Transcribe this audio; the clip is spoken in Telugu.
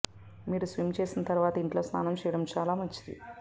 మీరు స్విమ్ చేసిన తర్వాత ఇంట్లో స్నానం చేయడం చాలా మంచిది